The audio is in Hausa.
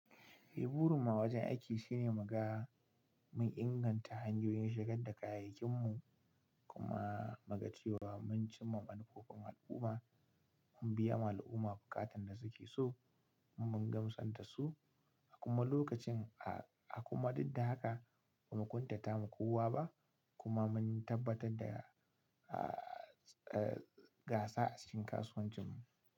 Eh burunmu a wajen aiki shine muga mun inganta hanyoyin shigar da kayayyakin mu kuma mu ga cewa mun cimma manufofin al'umma mun biya ma al'umma bukatan da suke so mun gamsan da su a kuma lokacin a kuma duk da haka ba mu ƙuntata ma kowa ba kuma mun tabbatar da gasa a cikin kasuwancin mu.